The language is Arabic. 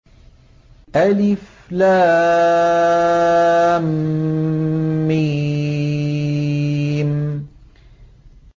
الم